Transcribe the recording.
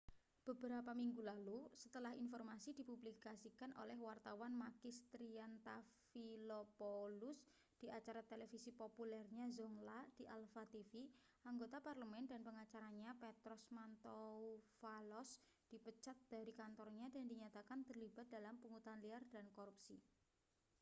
beberapa minggu lalu setelah informasi dipublikasikan oleh wartawan makis triantafylopoulos di acara televisi populernya zoungla di alpha tv anggota parlemen dan pengacaranya petros mantouvalos dipecat dari kantornya dan dinyatakan terlibat dalam pungutan liar dan korupsi